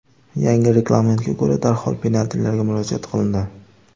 Yangi reglamentga ko‘ra, darhol penaltilarga murojaat qilindi.